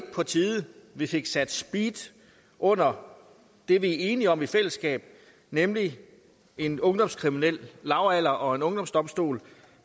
på tide at vi fik sat speed under det vi er enige om i fællesskab nemlig en ungdomskriminel lavalder og en ungdomsdomstol